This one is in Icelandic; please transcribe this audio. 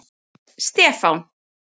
Stefán